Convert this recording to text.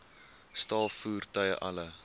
staal voertuie alle